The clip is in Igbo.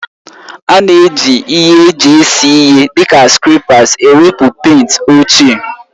A na-eji ihe eji ese ihe dị ka skrèpas ewepụ pèịnt ochie